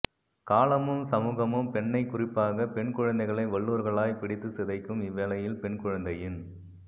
காலமும் சமூகமும் பெண்ணை குறிப்பாக பெண்குழந்தைகளை வல்லூறுகளாய் பிடித்துச் சிதைக்கும் இவ்வேளையில் பெண்குழந்தையின்